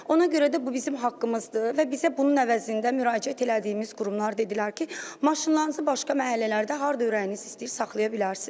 Ona görə də bu bizim haqqımızdır və bizə bunun əvəzində müraciət elədiyimiz qurumlar dedilər ki, maşınlarınızı başqa məhəllələrdə harda ürəyiniz istəyir saxlaya bilərsiz.